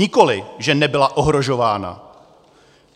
Nikoli, že nebyla ohrožována.